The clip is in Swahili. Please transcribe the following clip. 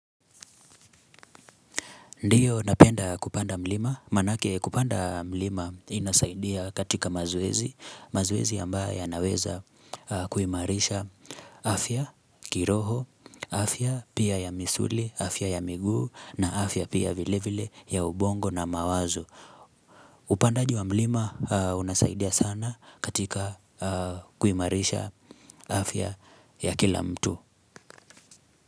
Ndiyo unapenda kupanda mlima, maanake kupanda mlima inasaidia katika mazwezi, mazoezi ambayo yanaweza kuimarisha afya, kiroho, afya pia ya misuli, afya ya miguu na afya pia vile vile ya ubongo na mawazo. Upandaji wa mlima unasaidia sana katika kuimarisha afya ya kila mtu.